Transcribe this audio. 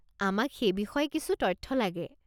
আমাক সেই বিষয়ে কিছু তথ্য লাগে।